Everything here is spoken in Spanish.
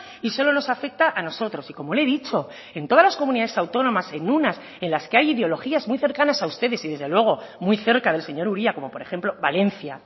y solo nos afecta a nosotros y como le he dicho en todas las comunidades autónomas en unas en las que hay ideologías muy cercanas a ustedes y desde luego muy cerca del señor uria como por ejemplo valencia